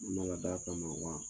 d'a kama wa.